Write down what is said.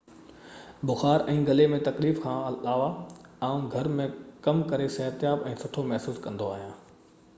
بخار ۽ غلي ۾ تڪليف کان علاوه آئون گهر ۾ ڪم ڪري صحتياب ۽ سٺو محسوس ڪندو آهيان